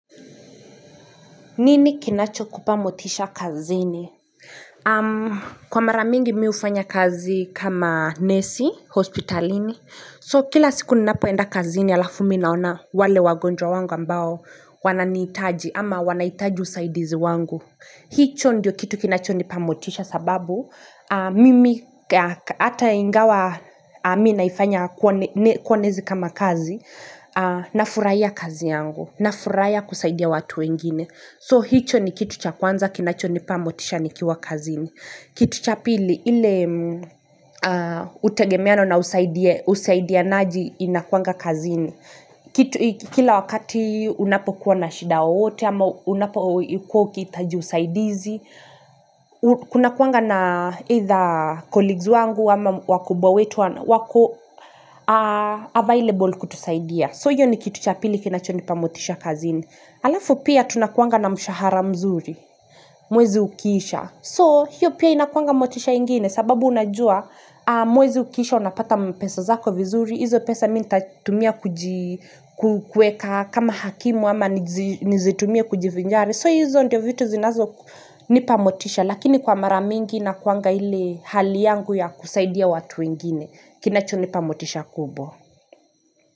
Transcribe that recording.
Nini kinacho kupamotisha kazini? Kwa maramingi mi ufanya kazi kama nesi, hospitalini. So kila siku ninapoenda kazini, alafu mi naona wale wagonjwa wangu ambao wananitaji ama wanaitaji usaidizi wangu. Hii cho ndiyo kitu kinacho nipamotisha sababu mimi ata ingawa mi naifanya kuonezi kama kazi na furaia kazi yangu na furaia kusaidia watu wengine. So hicho ni kitu cha kwanza, kinacho ni pamotisha ni kiwa kazini. Kitu cha pili, ile utegemeano na usaidia naji inakuanga kazini. Kila wakati unapo kuwa na shida yoyote, ama unapo kuwa ukitaji usaidizi. Kuna kuanga na either colleagues wangu, ama wakubwa wetu wako available kutusaidia. So hiyo ni kitu cha pili kinacho ni pamotisha kazini. Alafu pia tunakuanga na mshahara mzuri, mwezi ukiisha. So hiyo pia inakuanga motisha ingine sababu unajua mwezi ukiisha unapata mpesa zako vizuri, hizo pesa minta tumia kukueka kama hakimu ama nizitumia kujifinjari. So hizo ndio vitu zinazo nipamotisha lakini kwa maramingi inakuanga ile hali yangu ya kusaidia watu wengine. Kinacho nipamotisha kubwa.